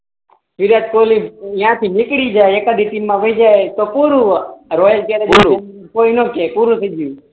વિરાટ કોહલી અહિયાં થી નીકળી જાય એક આદિ ટીમ મા વિજય તો પૂરું પૂરું કોઈ ના કહે પૂરું થઇ ગયું